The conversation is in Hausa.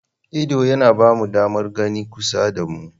Ido yana ba mu damar gani a kusa da mu.